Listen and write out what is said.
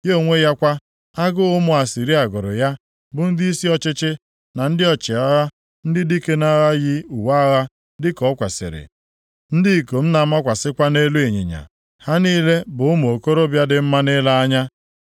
Ya onwe ya kwa, agụụ ụmụ Asịrịa gụrụ ya, bụ ndịisi ọchịchị, na ndị ọchịagha, ndị dike nʼagha yi uwe agha dịka o kwesiri, ndị ikom na-amakwasị nʼelu ịnyịnya, ha niile bụ ụmụ okorobịa dị mma nʼile anya.